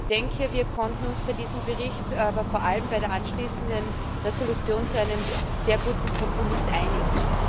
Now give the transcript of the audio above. Ich denke, wir konnten uns bei diesem Bericht, aber vor allem bei der anschließenden Entschließung auf einen sehr guten Kompromiss einigen.